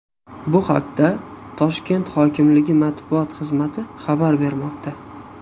Bu haqda Toshkent hokimligi matbuot xizmati xabar bermoqda .